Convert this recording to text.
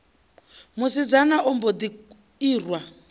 musidzana a mbo ḓi irwa